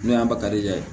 N'o y'a ba kari la